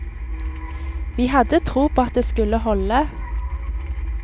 Vi hadde tro på at det skulle holde.